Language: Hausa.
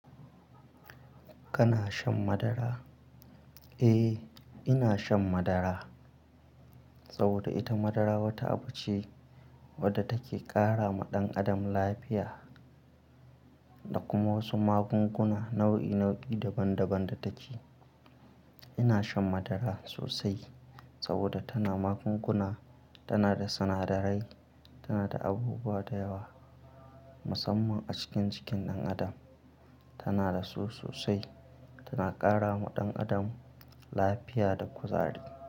Kana shan madara? Eh, ina shan madara saboda ita madara wata abu ce wadda take ƙara ma ɗan adam lafiya da kuma wasu magunguna nau'i nau'i daban daban da take. Ina shan madara sosai saboda tana magunguna, tana da sinadarai, tana da abubuwa da yawa musamman a cikin, cikin ɗan adam. Tana da su sosai. Tana ƙara ma ɗan adam lafiya da kuzari.